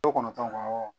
Kɔnɔntɔn